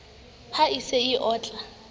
ha e se e otla